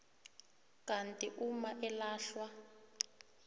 kanti uma elahlwa